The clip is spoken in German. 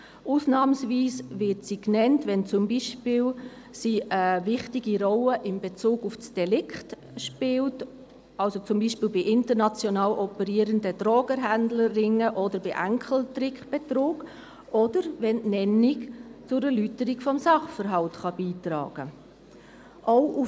Sie wird ausnahmsweise genannt, wenn sie beispielsweise eine wichtige Rolle in Bezug auf das Delikt spielt, zum Beispiel bei international operierenden Drogenhändlerringen, bei Enkeltrickbetrug oder wenn die Nennung zur Erläuterung des Sachverhalts beitragen kann.